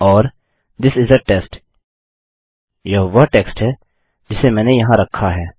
और थिस इस आ टेस्ट यह वह टेक्स्ट है जिसे मैंने वहाँ रखा है